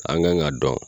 An kan ka dɔn